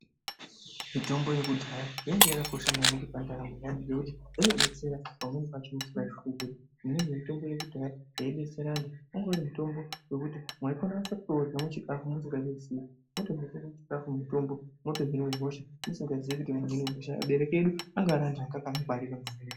Mitombo yekudhaya yanga yakanaka maningi pandaramo yaanhu ngekuti inodetsera pamweni pacho musingazvifungiri imweni mutombo wekuti mwaitonyase kutourya muchikafu musingazviziyi wotobekwe muchikafu mutombo mwotohine hosha musikaziyi kuti munhu une hosha aberwki edu anga ari anhu anga akangwarira maningi.